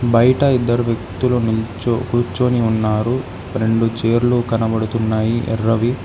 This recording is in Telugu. బయట ఇద్దరు వ్యక్తులు నుంచు కూర్చొని ఉన్నారు రెండు చైర్లు కనబడుతున్నాయి ఎర్రవి.